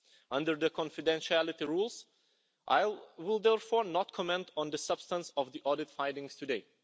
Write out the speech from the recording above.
Under the confidentiality rules, I will therefore not comment on the substance of the audit findings today.